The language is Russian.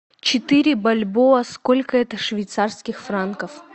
четыре бальбоа сколько это швейцарских франков